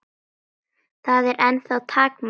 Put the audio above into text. Það er ennþá takmark okkar.